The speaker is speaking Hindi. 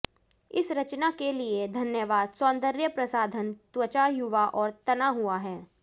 इस रचना के लिए धन्यवाद सौंदर्य प्रसाधन त्वचा युवा और तना हुआ है